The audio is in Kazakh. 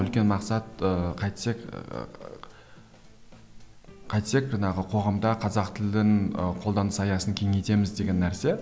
үлкен мақсат ыыы қайтсек ыыы қайтсек жаңағы қоғамда қазақ тілін ы қолданыс аясын кеңейтеміз деген нәрсе